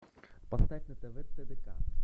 поставь на тв тдк